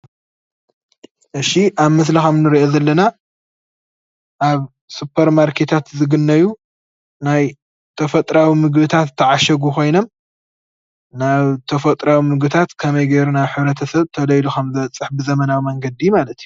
እሺ ኣብ ምስሊ ከምንርእዮ ከምዘለና ኣብ ሱፐር ማርኬታት ዝግነዩ ናይ ተፈጥሮኣዊ ምግብታት ዝተዓሸጉ ኮይኖም ናብ ተፈጥሮታት ምግብታት ከመይ ገይርና ናብ ሕብረተሰብ ቶሎ ኢሉ ከመዝበፅሕ ብዘመናዊ መንገዲ ማለት እዩ፡፡